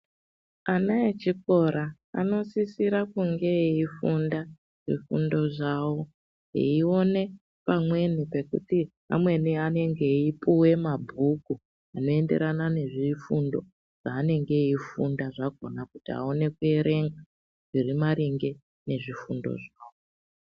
Ana echikora anosisira kunge eifunda zvifundo zvavo eione pamweni pekuti amweni anenge eipuwe mabhuku anoenderana nezvifundo zvavanenge veifunda zvakhona kuti aone kuerenga zviri maringe nezvifundo zvavo.